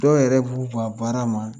Dɔw yɛrɛ b'u ban baara ma